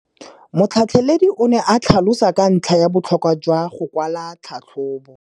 Motlhatlheledi o ne a tlhalosa ka ntlha ya botlhokwa jwa go kwala tlhatlhôbô.